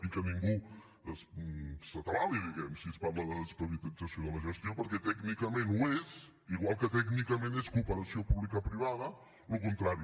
i que ningú s’atabali diguem ne si es parla de desprivatització de la gestió perquè tècnicament ho és igual que tècnicament és cooperació publicoprivada el contrari